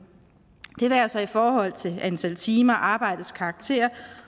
det være sig i forhold til antal timer arbejdets karakter